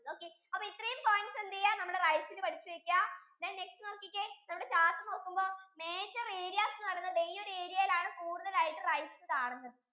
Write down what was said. അപ്പോ ഇത്രെയും points എന്ത് ചെയ്യാ നമ്മുടെ rice ഇന് പഠിച്ചു വെക്ക then next നോക്കിക്കേ നമ്മുടെ chart നോക്കുമ്പോ major areas എന്ന് പറയുന്ന വെല്യ ഒരു area യിൽ ആണ് കൂടുതൽ ആയിട്ടു rice കാണുന്നത്